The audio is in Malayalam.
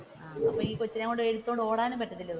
അപ്പൊ ഈ കൊച്ചിനെ എടുത്തോണ്ട് ഓടാനും പറ്റൂലല്ലോ.